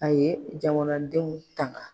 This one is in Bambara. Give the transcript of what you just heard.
A ye jamanadenw tanga.